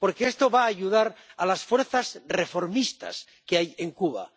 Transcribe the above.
Porque esto va a ayudar a las fuerzas reformistas que hay en Cuba.